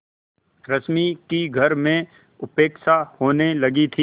रश्मि की घर में उपेक्षा होने लगी थी